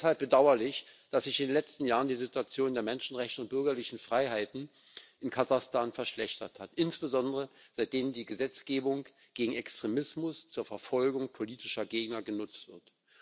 Es ist deshalb bedauerlich, dass sich in den letzten Jahren die Situation der Menschenrechte und bürgerlichen Freiheiten in Kasachstan verschlechtert hat, insbesondere seitdem die Gesetzgebung gegen Extremismus zur Verfolgung politischer Gegner genutzt wird.